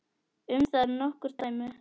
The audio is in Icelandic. Um það eru nokkur dæmi.